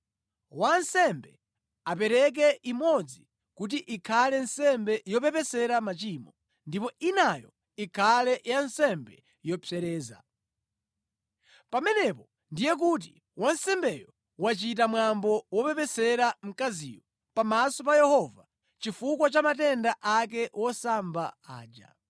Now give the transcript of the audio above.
Wansembe apereke imodzi kuti ikhale nsembe yopepesera machimo ndipo inayo ikhale ya nsembe yopsereza. Pamenepo ndiye kuti wansembeyo wachita mwambo wopepesera mkaziyo pamaso pa Yehova chifukwa cha matenda ake wosamba aja.